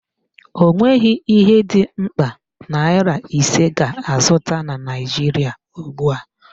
Ọ nweghị ihe dị mkpa naịra ise ga-azụta na Naijiria ugbua